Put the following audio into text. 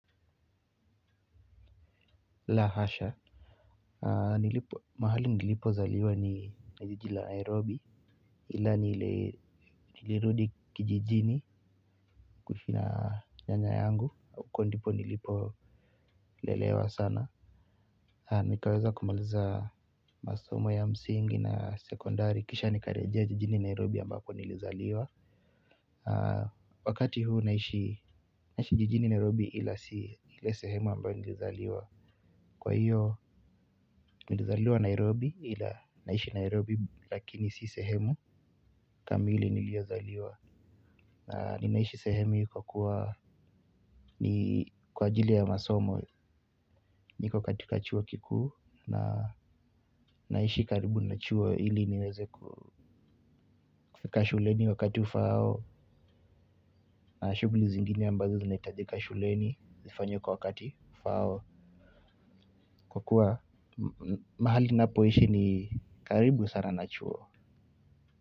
La hasha mahali nilipozaliwa ni jiji la nairobi ila nilirudi kijijini kuishi na nyanya yangu, huko ndipo nilipo lelewa sana. Nikaweza kumaliza masomo ya msingi na sekondari kisha nikarejea jijini Nairobi ambapo nilizaliwa wakati huo naishi jijini Nairobi ila sio ile sehemu ambapo nilizaliwa. Kwa hiyo, nilazaliwa Nairobi ila naishi Nairobi lakini si sehemu kamili niliozaliwa. Na ninaishi sehemu nilikokuwa ni kwa ajili ya masomo niko katika chuo kikuu na naishi karibu na chuo ili niweze ku fika shuleni wakati ufao na shughuli zingine ambazo zinahitajika shuleni nifanye kwa wakati ufao. Kwa kuwa mahali ninapoishi ni karibu sana na chuo.